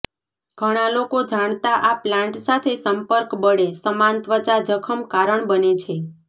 ઘણા લોકો જાણતા આ પ્લાન્ટ સાથે સંપર્ક બળે સમાન ત્વચા જખમ કારણ બને છે